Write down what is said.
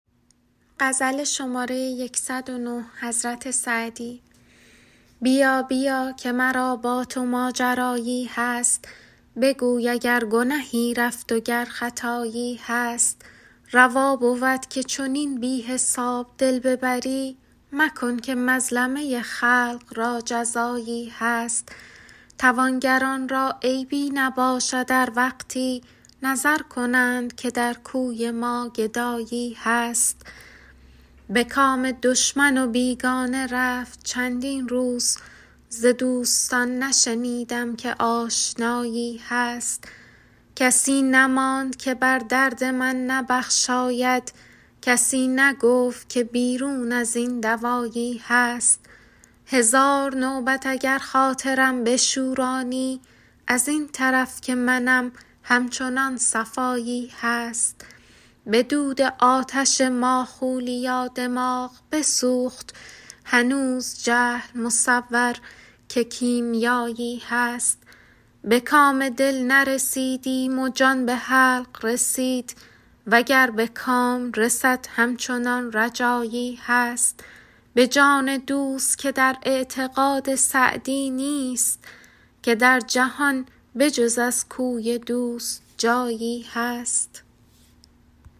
بیا بیا که مرا با تو ماجرایی هست بگوی اگر گنهی رفت و گر خطایی هست روا بود که چنین بی حساب دل ببری مکن که مظلمه خلق را جزایی هست توانگران را عیبی نباشد ار وقتی نظر کنند که در کوی ما گدایی هست به کام دشمن و بیگانه رفت چندین روز ز دوستان نشنیدم که آشنایی هست کسی نماند که بر درد من نبخشاید کسی نگفت که بیرون از این دوایی هست هزار نوبت اگر خاطرم بشورانی از این طرف که منم همچنان صفایی هست به دود آتش ماخولیا دماغ بسوخت هنوز جهل مصور که کیمیایی هست به کام دل نرسیدیم و جان به حلق رسید و گر به کام رسد همچنان رجایی هست به جان دوست که در اعتقاد سعدی نیست که در جهان به جز از کوی دوست جایی هست